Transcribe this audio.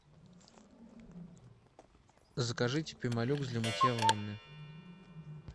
закажите пемолюкс для мытья ванны